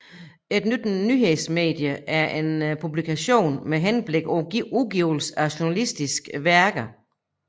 Et nyhedsmedie er en publikation med henblik på udgivelse af journalistiske værker